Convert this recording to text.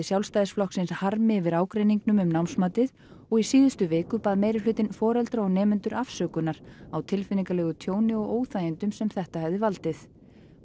Sjálfstæðisflokksins harmi yfir ágreiningnum um námsmatið og í síðustu viku bað meirihlutinn foreldra og nemendur afsökunar á tilfinningalegu tjóni og óþægindum sem þetta hefði valdið